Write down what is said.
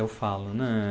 Eu falo, né?